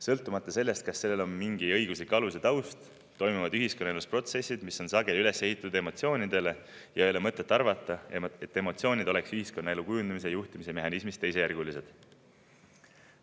Sõltumata sellest, kas siin on mingi õiguslik alus ja taust, toimuvad ühiskonnaelus protsessid, mis on sageli üles ehitatud emotsioonidele, ja ei ole mõtet arvata, et emotsioonid oleks ühiskonnaelu kujundamise ja juhtimise mehhanismis teisejärgulised.